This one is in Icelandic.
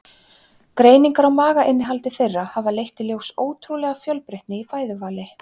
Greiningar á magainnihaldi þeirra hafa leitt í ljós ótrúlega fjölbreytni í fæðuvali.